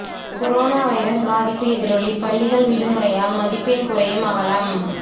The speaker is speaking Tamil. கொரோனா வைரஸ் பாதிப்பு எதிரொலி பள்ளிகள் விடுமுறையால் மதிப்பெண் குறையும் அவலம்